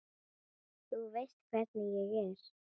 Þú veist hvernig ég er.